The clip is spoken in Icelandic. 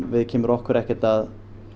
viðkemur okkur ekkert